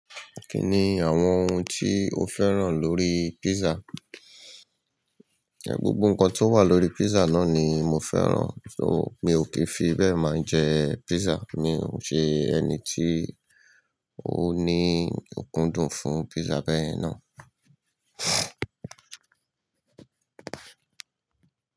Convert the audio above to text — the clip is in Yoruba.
Kí ni àwọn ohun tí o féràn lórí pízza Ẹ gbogbò ǹkan tó wà lórí pízza náni mo féràn, ṣó mi o kì í fi bẹ́ẹ̀ máa jẹ pízzà. Mi ò ṣe ẹni tí ó ní òkúndùn fún pízza bẹ́yen náà.